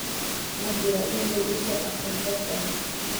ma jiraa iimayl uusan akhrin qofkan